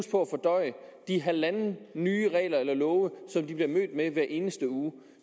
at fordøje de halvanden nye regler eller love som de bliver mødt med hver eneste uge